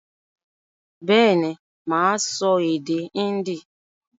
Bẹ́ẹ̀ ni, mà á sọ èdè Hindi